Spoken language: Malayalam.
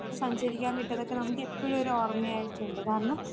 സഞ്ചരിക്കാൻ വിട്ടതൊക്കെ നമുക്കെപ്പഴും ഒരു ഓർമ്മയായിട്ടുണ്ട്. കാരണം,